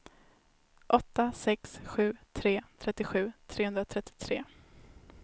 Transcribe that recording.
åtta sex sju tre trettiosju trehundratrettiotre